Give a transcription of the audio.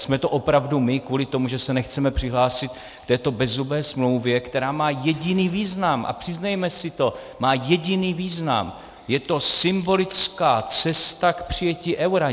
Jsme to opravdu my, kvůli tomu, že se nechceme přihlásit k této bezzubé smlouvě, která má jediný význam - a přiznejme si to, má jediný význam, je to symbolická cesta k přijetí eura.